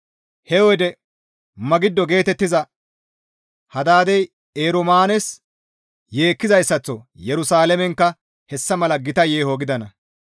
He wode Magiddo geetettiza Hadaadey Ermoonas yeekkoyssaththo Yerusalaamenkka hessa mala gita yeeho gidana.